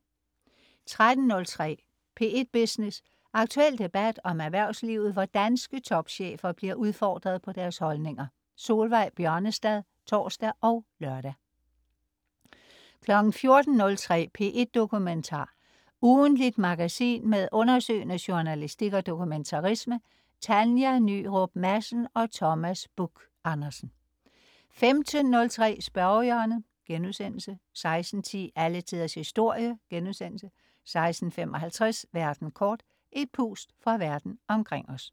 13.03 P1 Business. Aktuel debat om erhvervslivet, hvor danske topchefer bliver udfordret på deres holdninger. Solveig Bjørnestad (tors og lør) 14.03 P1 Dokumentar. Ugentligt magasin med undersøgende journalistik og dokumentarisme. Tanja Nyrup Madsen og Thomas Buch-Andersen 15.03 Spørgehjørnet* 16.10 Alle Tiders Historie* 16.55 Verden kort. Et pust fra verden omkring os